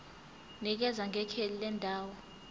nikeza ngekheli lendawo